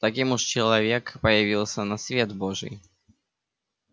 таким уж человек появился на свет божий